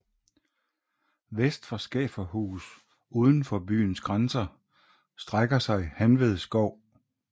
Vest for Skæferhus uden for byens grænser strækker sig Hanved Skov